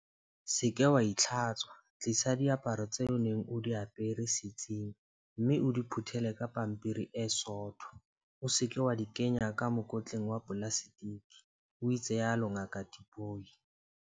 Se ke wa itlhatswa, tlisa diaparo tseo o neng o di apere setsing mme o di phuthele ka pampiri e sootho, o se ke wa di kenya ka mokotleng wa polaseteke, o itsalo Ngaka Tipoy.